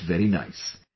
I felt very nice